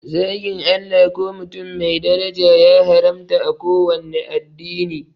Zagin Allah ko mutum mai daraja ya haramta a kowanne addini